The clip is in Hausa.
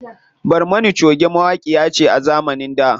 Barmana choge mawaƙiya ce a zamanin da.